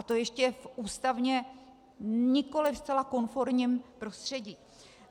A to ještě v ústavně nikoli zcela konformním prostředí.